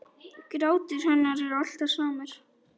Grátur hennar er alltaf samur.